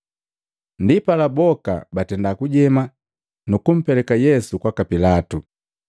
Ndipala boka batenda kujema, nu kumpeleka Yesu kwaka Pilatu.